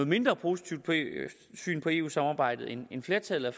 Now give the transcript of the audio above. mindre positivt syn på eu samarbejdet end flertallet af